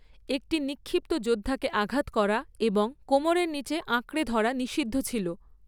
একটি নিক্ষিপ্ত যোদ্ধাকে আঘাত করা এবং কোমরের নীচে আঁকড়ে ধরা নিষিদ্ধ ছিল।